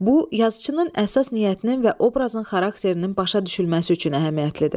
Bu yazıçının əsas niyyətinin və obrazın xarakterinin başa düşülməsi üçün əhəmiyyətlidir.